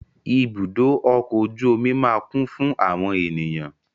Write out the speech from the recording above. Ibùdó ọkọ̀ ojú omi máa kún fún àwọn ènìyàn.